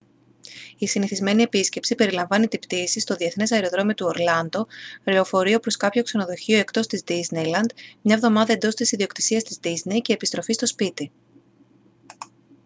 η «συνηθισμένη» επίσκεψη περιλαμβάνει την πτήση στο διεθνές αεροδρόμιο του ορλάντο λεωφορείο προς κάποιο ξενοδοχείο εντός της disneyland μια εβδομάδα εντός της ιδιοκτησίας της disney και επιστροφή στο σπίτι